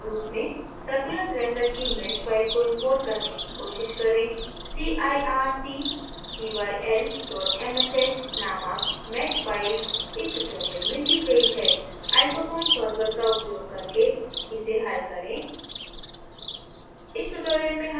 नियतकार्य के रूप में